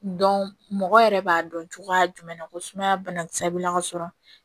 mɔgɔ yɛrɛ b'a dɔn cogoya jumɛn na ko sumaya banakisɛ bɛ na ka sɔrɔ